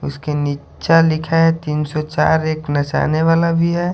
उसके नीच्चा लिखा है तीन सौ चार एक नचाने वाला भी है।